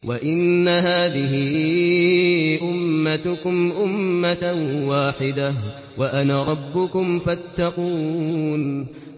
وَإِنَّ هَٰذِهِ أُمَّتُكُمْ أُمَّةً وَاحِدَةً وَأَنَا رَبُّكُمْ فَاتَّقُونِ